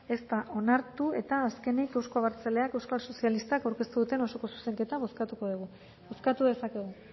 ez da onartu eta azkenik euzko abertzaleak euskal sozialistak aurkeztu duten osoko zuzenketa bozkatuko dugu bozkatu dezakegu